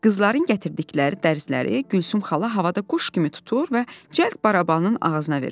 Qızların gətirdikləri dərzləri Gülsüm xala havada quş kimi tutur və cəld barabanın ağzına verirdi.